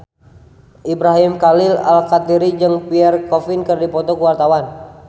Ibrahim Khalil Alkatiri jeung Pierre Coffin keur dipoto ku wartawan